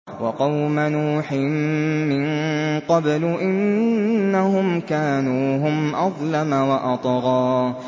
وَقَوْمَ نُوحٍ مِّن قَبْلُ ۖ إِنَّهُمْ كَانُوا هُمْ أَظْلَمَ وَأَطْغَىٰ